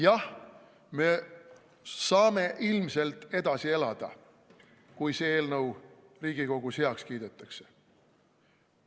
Jah, me saame ilmselt edasi elada, kui see eelnõu Riigikogus heaks kiidetakse.